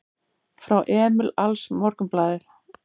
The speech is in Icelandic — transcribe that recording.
Frá Emil AlsMorgunblaðið